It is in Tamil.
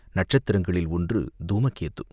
நட்சத்திரங்களில் ஒன்று தூமகேது.